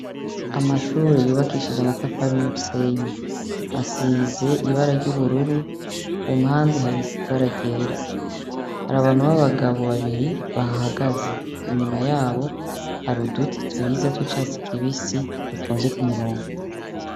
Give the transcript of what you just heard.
Amashuri yubakishije amatafari n' umusenyi. Asize ibara ry' ubururu Ku mpande hari ibara ryera. Hari abantu b' abagabo babiri bahahagaze. Inyuma yabo hari uduti twiza tw' icatsi kibisi dutonze ku murongo.